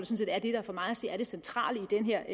set er det der for mig at se er det centrale i den her